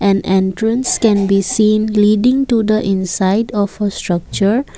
an entrance can be seen leading to the inside of a structure.